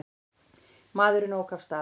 Maðurinn ók af stað.